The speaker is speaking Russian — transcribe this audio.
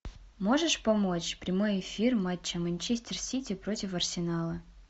можешь помочь прямой эфир матча манчестер сити против арсенала